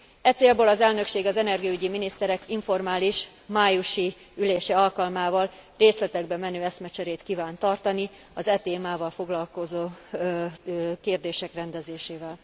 E célból az elnökség az energiaügyi miniszterek informális májusi ülése alkalmával részletekbe menő eszmecserét kíván tartani az e témával foglalkozó kérdések rendezésével.